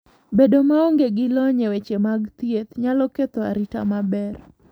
Bedo maonge gi lony e weche mag thieth nyalo ketho arita maber.